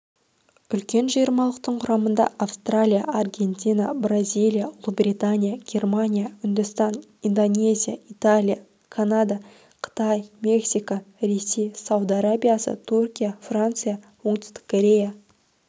үлкен жиырмалықтың құрамында австралия аргентина бразилия ұлыбритания германия үндістан индонезия италия канада қытай мексика ресей сауд арабиясы түркия франция оңтүстік корея